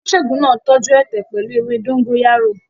Oníṣègùn náà tọ́jú ẹ̀tẹ̀ pẹ̀lú ewé dógóyárò.